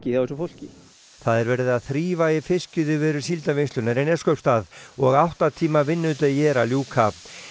hjá þessu fólki það er verið að þrífa í fiskiðjuveri Síldarvinnslunnar í Neskaupstað og átta tíma vinnudegi er að ljúka